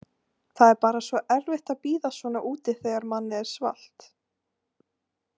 Það er bara svo erfitt að bíða svona úti þegar manni er svalt.